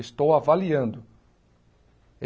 Estou avaliando.